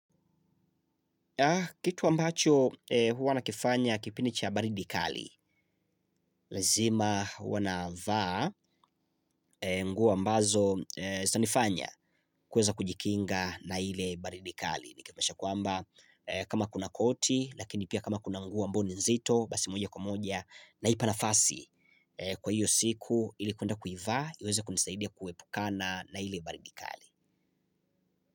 Kitu ambacho huwa nakifanya kipindi cha baridi kali, lazima huwa navaa, nguo ambazo zitanifanya kuweza kujikinga na ile baridi kali. Ni kuhakikisha kwamba kama kuna koti, lakini pia kama kuna nguo ambay oni nzito, basi moja kwa moja, naipa nafasi kwa hiyo siku ilikwenda kuivaa, iweza kunisaidia kuepukana na ile baridi kali.